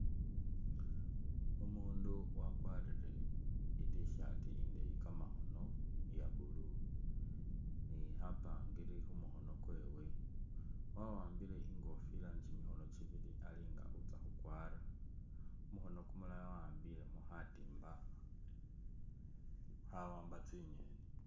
Umundu wakwarire i'tshirt indeyi kamakhono iye blue ni khapangiri khumukhono kwewe ,wa'ambile ingofira ni kimikhono kibili Ali nga utsya khukwara ,kumukhono kumulala wa'ambilemo khatimba khawamba tsi'ngeni